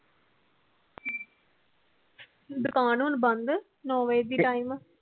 ਦੁਕਾਨ ਹੁਣ ਬੰਦ ਨੋ ਬਜੇ ਦੀ ਟਾਇਮ